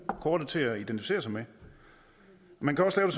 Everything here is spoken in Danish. kortet til at identificere sig med man kan også lave